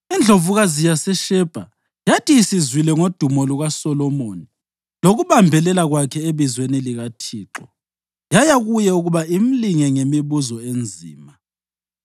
Indlovukazi yaseShebha yathi isizwile ngodumo lukaSolomoni lokubambelela kwakhe ebizweni likaThixo, yaya kuye ukuba imlinge ngemibuzo enzima.